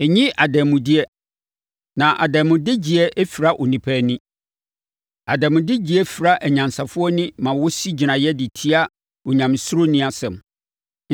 “Nnye adanmudeɛ na adanmudegyeɛ fira onipa ani. Adanmudegyeɛ fira anyansafoɔ ani ma wɔsi gyinaeɛ de tia onyamesuroni asɛm.